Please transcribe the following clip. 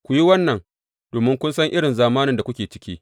Ku yi wannan domin kun san irin zamanin da kuke ciki.